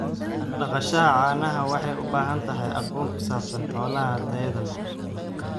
Dhaqashada caanaha waxay u baahan tahay aqoon ku saabsan xoolaha tayada leh.